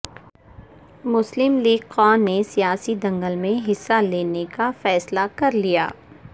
مسلم league ق نے سیاسی دنگل میں حصہ لینے کا فیصلہ کرلیا